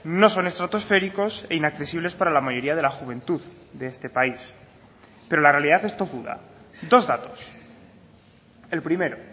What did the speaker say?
no son estratosféricos e inaccesibles para la mayoría de la juventud de este país pero la realidad es tozuda dos datos el primero